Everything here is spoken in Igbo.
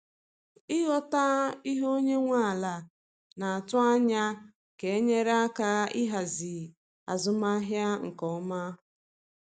Ịghọta ihe onye nwe ala naatụ anya ga enyere aka ịhazi azụmahịa nke ọma.